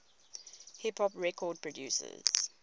hip hop record producers